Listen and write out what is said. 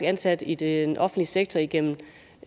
ansat i den offentlige sektor igennem